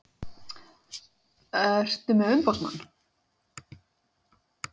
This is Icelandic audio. Ertu með umboðsmann?